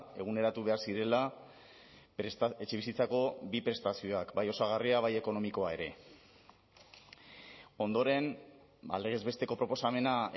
eguneratu behar zirela etxebizitzako bi prestazioak bai osagarria bai ekonomikoa ere ondoren legez besteko proposamena